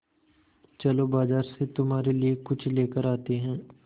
चलो बाज़ार से तुम्हारे लिए कुछ लेकर आते हैं